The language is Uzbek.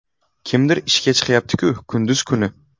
Kimdir ishga chiqyapti-ku kunduz kuni.